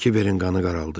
Kiberin qanı qaraldı.